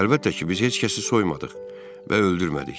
Əlbəttə ki, biz heç kəsi soymadıq və öldürmədik.